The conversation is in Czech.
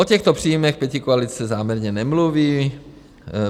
O těchto příjmech pětikoalice záměrně nemluví.